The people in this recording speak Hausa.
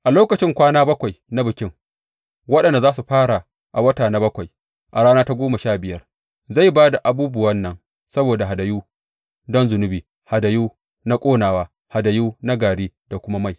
A lokacin kwana bakwai na Bikin, waɗanda za su fara a wata na bakwai a rana ta goma sha biyar, zai ba da abubuwan nan saboda hadayu don zunubi, hadayu na ƙonawa, hadayu na gari da kuma mai.